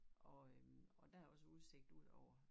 Og øh og der er også udsigt ud over